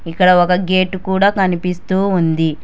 ఇక్కడ ఒక గేటు కూడా కనిపిస్తూ ఉంది.